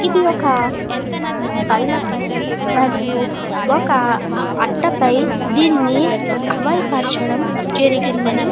ఇది ఒక బల్ల పై మరియు ఒక అట్ట పై దీన్ని అమలుపరచడం జరిగిందని --